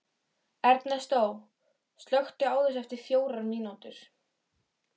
Ernestó, slökktu á þessu eftir fjórar mínútur.